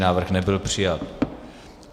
Návrh nebyl přijat.